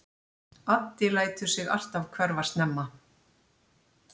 Addi lætur sig alltaf hverfa snemma.